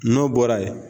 N'o bɔra ye